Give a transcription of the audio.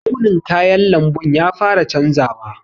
Launin kayan lamɓun ya fara canzawa.